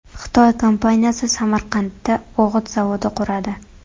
Xitoy kompaniyasi Samarqandda o‘g‘it zavodi quradi.